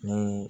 Ni